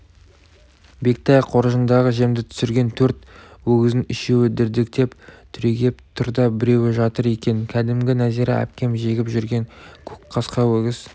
бектай қоржындағы жемді түсірген төрт өгіздің үшеуі дірдектеп түрегеп тұр да біреуі жатыр екен кәдімгі нәзира әпкем жегіп жүрген көк қасқа өгіз